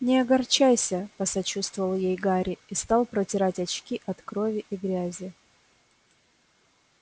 не огорчайся посочувствовал ей гарри и стал протирать очки от крови и грязи